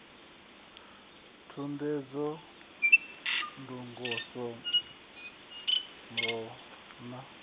thudzela thungo sa vhuambamba ha